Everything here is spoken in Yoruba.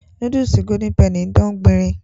Núdúùsù golden penny ń dán gbinrin